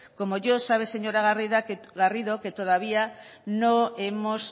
como yo sabe señora garrido que todavía no hemos